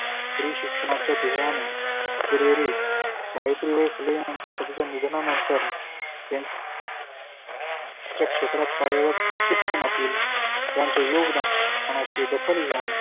स्त्री शिक्षणाच्या ध्येयाने फिरेरे सावित्रीबाई फुले यांच्या निधना नंतर त्यां क्षेत्रात कार्यरत शिक्षणातील त्याचं योगदान दखल घेऊन